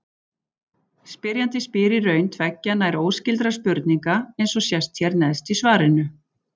Spyrjandi spyr í raun tveggja nær óskyldra spurninga, eins og sést hér neðst í svarinu.